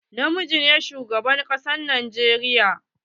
Na miji ne shugaban kasan a Najeriya.